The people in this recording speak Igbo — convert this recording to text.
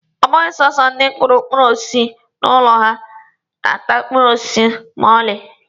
Ọ bụghị sọsọ ndi kụrụ mkpụrụ osisi n'ụlọ ha na-ata mkpụrụ osisi ma ọlị.